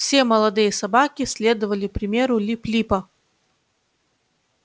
все молодые собаки следовали примеру лип липа